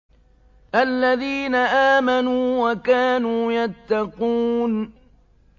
الَّذِينَ آمَنُوا وَكَانُوا يَتَّقُونَ